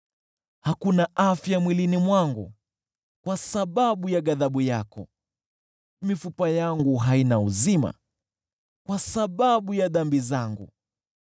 Hakuna afya mwilini mwangu kwa sababu ya ghadhabu yako, mifupa yangu haina uzima kwa sababu ya dhambi zangu.